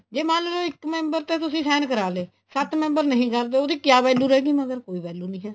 ਜ਼ੇ ਮੰਨਲੋ ਇੱਕ member ਤੇ ਤੁਸੀਂ sign ਕਰਾ ਲਏ ਸੱਤ member ਨਹੀਂ ਕਰਦੇ ਉਹਦੀ ਕਿਹਾ value ਰਹੇਗੀ ਮਗਰ ਕੋਈ value ਨਹੀਂ ਹੈ